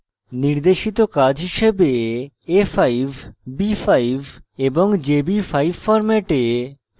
নির্দেশিত কাজ হিসাবে a5 a5 এবং jb5 ফরম্যাটে কাঠামো print করা